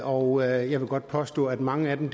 og jeg vil godt påstå at mange af dem